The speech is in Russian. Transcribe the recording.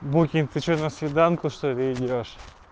букин ты ещё на свиданку что-ли идёшь